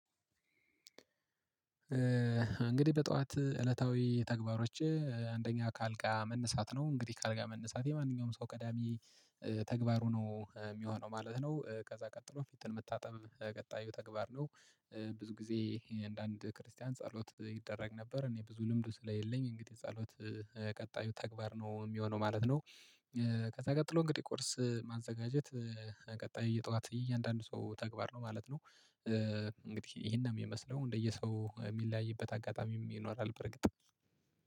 እንግዲህ በጧት እለታዊ ተግባሮቼ አንደኛ ከአልጋ መነሳት ነው እንግዲህ ከአልጋ መነሳት የማንኛውም ሰው ቀዳሚ ተግባሩ ነው ሚሆነው ማለት ነው። ከዛ ቀጥሎ ፊትን መታጠብ ቀጣዩ ተግባር ነው። ብዙ ጊዜ አንዳንድ ክርስቲያን ጸሎት ይደረግ ነበር እኔ ብዙ ልምዱ ስለሌለኝ እንግዲህ ጸሎት። ቀጣዩ ተግባር ነው ሚሆነው ማለት ነው። ከዛ ቀጥሎ እንግዲህ ቁርስ ማዘጋጀት። ቀጣይ የጠዋት እያንዳንዱ ሰው ተግባር ነው ማለት ነው። እንግዲህ ይሄንን ሚመስለው እንደየ ሰው ሚለያይበት አጋጣሚም ይኖራል በርግጥ